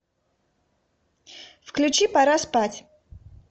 включи пора спать